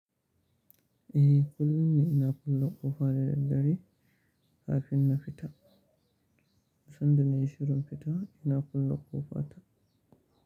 Eh kullum ne ina kullo ƙofa da daddare kafin na fita, sanda na yi shirin fita ina kullo ƙofa ta.